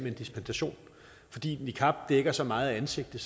en dispensation fordi niqab dækker så meget af ansigtet